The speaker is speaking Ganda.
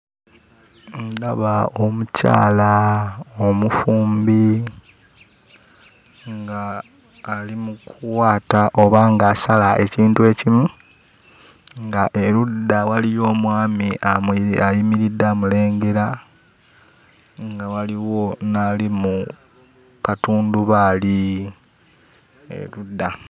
Ndaba omukyala omufumbi ng'ali mu kuwaata oba ng'asala ekintu ekimu ng'erudda waliyo omwami amuli ayimiridde amulengera, nga waliwo n'ali mu katundubaali erudda.